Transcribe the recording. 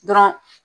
Dɔrɔn